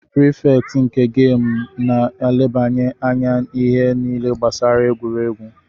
Prifekt nke gamu na-elebanye anya ihe niile gbasara egwuregwu